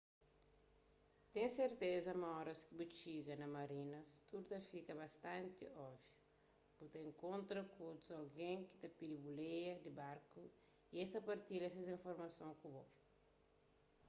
ten serteza ma óras ki bu txiga na marinas tudu ta fika bastanti óbviu bu ta inkontra ku otus algen ki ta pidi buleia di barku y es ta partilha ses informason ku bo